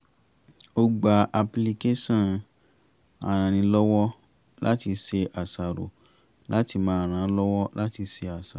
ó gba apilicáṣọ̀n arannílọ́wọ́-láti-ṣe-àṣàrò láti máa ràn án lọ́wọ́ láti ṣe àṣàrò